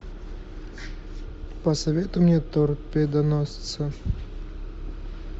посоветуй мне торпедоносца